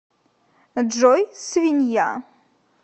джой свинья